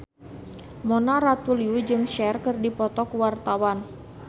Mona Ratuliu jeung Cher keur dipoto ku wartawan